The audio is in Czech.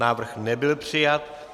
Návrh nebyl přijat.